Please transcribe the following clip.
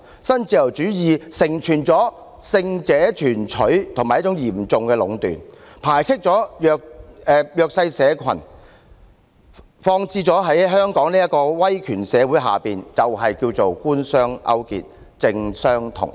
新自由主義成全了勝者全取和嚴重壟斷的局面，排斥了弱勢社群，放諸香港這個威權社會，便是稱為官商勾結，政商同體。